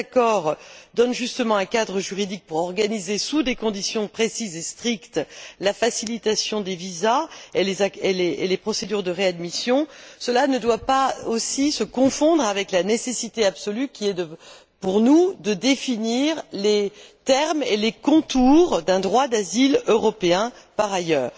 Si ces accords donnent justement un cadre juridique pour organiser, sous des conditions précises et strictes, la facilitation des visas et les procédures de réadmission, cela ne doit pas se confondre avec la nécessité absolue, qui est pour nous de définir les termes et les contours d'un droit d'asile européen par ailleurs.